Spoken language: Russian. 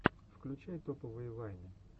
включай топовые вайны